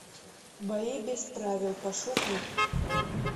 бои без правил пошукай